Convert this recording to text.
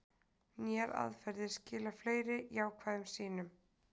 Nýjar aðferðir skila fleiri jákvæðum sýnum